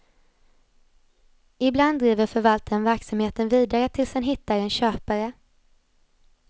Ibland driver förvaltaren verksamheten vidare tills han hittar en köpare.